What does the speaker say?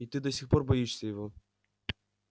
и ты до сих пор боишься его